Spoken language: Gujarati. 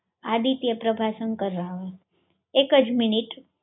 આદિત્ય પ્રભાશંકર રાવલ એક જ મિનિટ